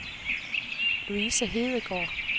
Louise Hedegaard